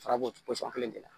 Farabu kelen de la